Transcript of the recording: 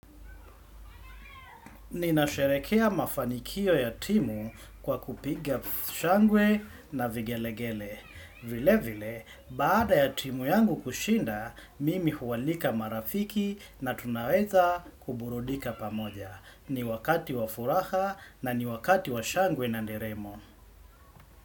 Ninasheherekea mafanikio ya timu kwa kupiga shangwe na vigelegele. Vile vile, baada ya timu yangu kushinda, mimi hualika marafiki na tunaweza kuburudika pamoja. Ni wakati wa furaha na ni wakati wa shangwe na nderemo.